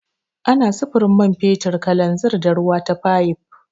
Ana sufurin man fetur, kananzir, da ruwa ta fayif.